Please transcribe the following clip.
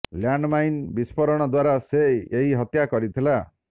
land mine ବିସ୍ଫୋରଣ ଦ୍ୱାରା ସେ ଏହି ହତ୍ୟା କରିଥିଲା